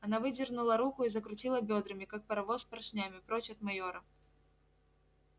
она выдернула руку и закрутила бёдрами как паровоз поршнями прочь от майора